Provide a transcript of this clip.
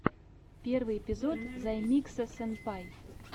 первый эпизод займикса сэнпай